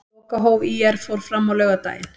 Lokahóf ÍR fór fram á laugardaginn.